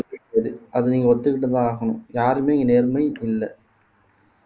முடியாது அத நீங்க ஒத்துக்கிட்டுதான் ஆகணும் யாருமே இங்க நேர்மை இல்லை